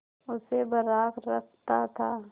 उसे बर्राक रखता था